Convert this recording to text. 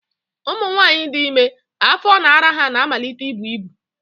Ụmụnwaanyị dị ime, afọ na ara ha na-amalite ibu ibu